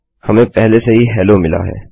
हमें पहले से ही हेलो मिला है